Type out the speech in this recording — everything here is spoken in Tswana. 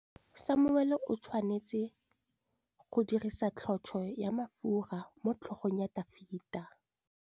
Samuele o tshwanetse go dirisa tlotsô ya mafura motlhôgong ya Dafita.